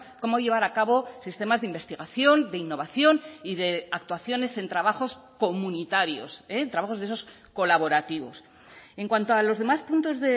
cómo llevar a cabo sistemas de investigación de innovación y de actuaciones en trabajos comunitarios eh en trabajos de esos colaborativos en cuanto a los demás puntos